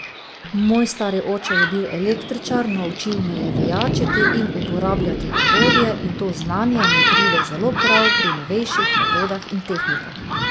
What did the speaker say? Moj stari oče je bil električar, naučil me je vijačiti in uporabljati orodje, in to znanje mi pride zelo prav pri novejših metodah in tehnikah.